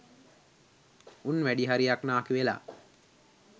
උන් වැඩිහරියක් නාකි වෙලා